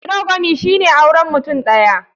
Monogamy shine auren mutum ɗaya.